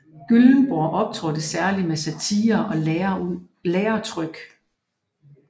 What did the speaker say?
Gyllenborg optrådte særlig med satirer og læretryk